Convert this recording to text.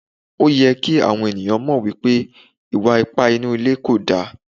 Òyẹ kí àwọn ènìyàn mọ̀ wípé ìwà ipá inú ilé kò da.